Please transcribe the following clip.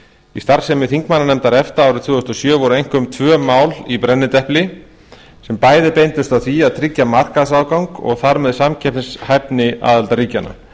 í starfsemi þingmannanefndar efta árið tvö þúsund og sjö voru einkum tvö mál einkum í brennidepli sem bæði beindust að því að tryggja markaðsaðgang og þar með samkeppnishæfni aðildarríkjanna